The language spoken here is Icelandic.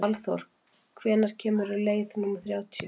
Valþór, hvenær kemur leið númer þrjátíu?